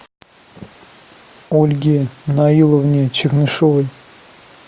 ольге наиловне чернышевой